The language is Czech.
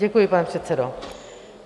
Děkuji, pane předsedo.